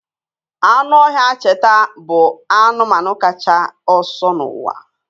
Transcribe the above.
Anụ ọhịa cheeta bụ anụmanụ kacha ọsọ n'ụwa